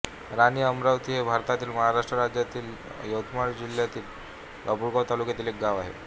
राणी अमरावती हे भारतातील महाराष्ट्र राज्यातील यवतमाळ जिल्ह्यातील बाभुळगाव तालुक्यातील एक गाव आहे